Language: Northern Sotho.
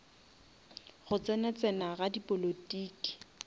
go tsena tsena ga dipolotiki